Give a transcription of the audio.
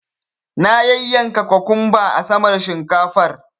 Na yanyanka kokumba a saman shinkafar.